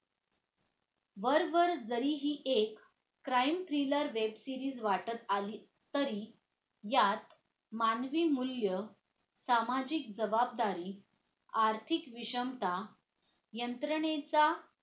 वरवर जरी हे एक crime thriller web series वाटत आली तरी यात मानवी मूल्य, सामाजिक जबाबदारी, आर्थिक विषमता, यंत्रणेचा